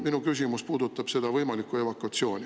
Minu küsimus puudutab seda võimalikku evakuatsiooni.